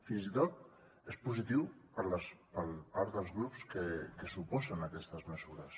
fins i tot és positiu per part dels grups que s’oposen a aquestes mesures